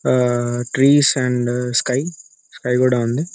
ఆఁ trees and sky sky కూడా ఉంది .